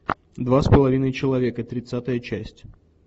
два с половиной человека тридцатая часть